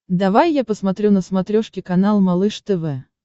давай я посмотрю на смотрешке канал малыш тв